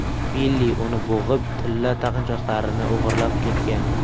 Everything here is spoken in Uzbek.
Billi uni bo‘g‘ib, tilla taqinchoqlarini o‘g‘irlab ketgan.